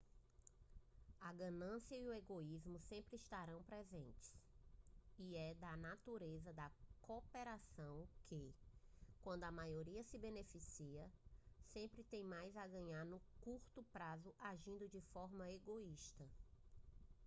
a ganância e o egoísmo sempre estarão presentes e é da natureza da cooperação que quando a maioria se beneficia sempre tem mais a ganhar no curto prazo agindo de forma egoísta